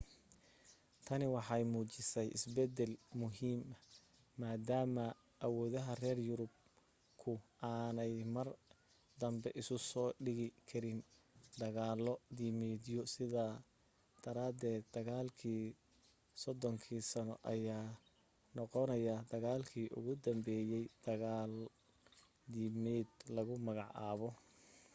tani waxay muujisay isbeddel muhiima maadaama awoodda reer yurubku aanay mar danbe isu soo dhigi karin dagaalo diimeedyo sidaa daraadeed dagaalkii soddonka sanno ayaa noqonaya dagaalkii ugu dambeeyay dagaal diimeed lagu magacaabo